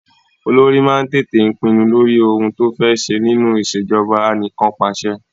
Olórí máa ń tètè pinnu lórí ohun to fé ṣẹ nínú ìṣèjọba anìkànpàṣẹ.